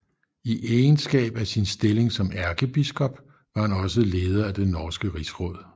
I egenskab af sin stilling som ærkebiskop var han også leder af det norske rigsråd